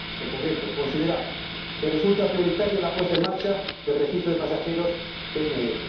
En concreto, consideramos que resulta prioritaria la puesta en marcha del registro de pasajeros PNR.